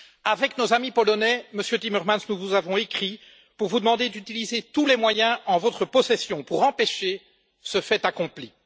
Avec nos amis polonais, Monsieur Timmermans, nous vous avons écrit pour vous demander d'utiliser tous les moyens en votre possession pour empêcher ce fait accompli.